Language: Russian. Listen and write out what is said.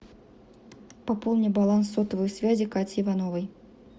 пополни баланс сотовой связи кати ивановой